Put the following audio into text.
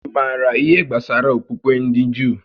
Ị maara ihé gbásárá okpukpe ndị Juu?